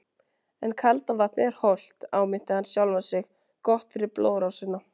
En kalda vatnið er hollt, áminnti hann sjálfan sig, gott fyrir blóðrásina.